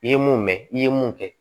I ye mun mɛn i ye mun kɛ